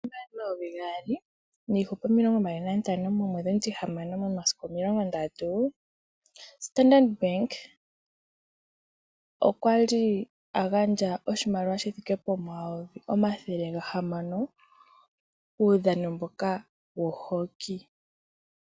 Momvula omayovi gaali niihupe omilongo mbali nantano momwedhi omutihamano momasiku omilongo ndatu Standard bank okwali a gandja oshimaliwa shi thike pomayovi omathele gahamano kuudhano mboka wo Hoki.